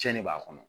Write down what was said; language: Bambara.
Cɛn de b'a kɔnɔ